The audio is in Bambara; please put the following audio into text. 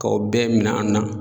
K'a o bɛɛ min'an na